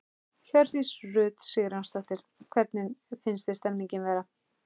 Hjördís Rut Sigurjónsdóttir: Hvernig finnst þér stemningin vera?